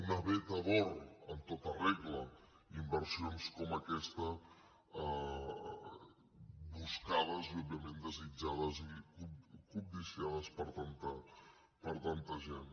una veta d’or en tota regla inversions com aquesta buscades i òbviament desitjades i cobdiciades per tanta gent